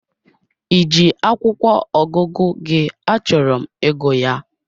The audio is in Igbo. Ị ji akwụkwọ ọgụgụ gị achọrọ m ịgụ ya?